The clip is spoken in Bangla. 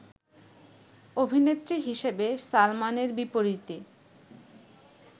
অভিনেত্রী হিসেবে সালমানের বিপরীতে